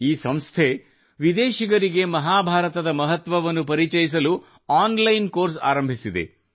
ಈ ಸಂಸ್ಥೆ ವಿದೇಶಿಗರಿಗೆ ಮಹಾಭಾರತದ ಮಹತ್ವವನ್ನು ಪರಿಚಯಿಸಲು ಆನ್ ಲೈನ್ ಕೋರ್ಸ್ ಆರಂಭಿಸಿದೆ